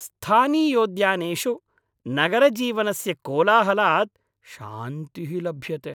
स्थानीयोद्यानेषु नगरजीवनस्य कोलाहलात् शान्तिः लभ्यते।